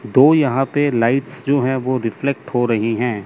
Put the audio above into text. दो यहां पे लाइट्स जो है वो रिफ्लेक्ट हो रही है।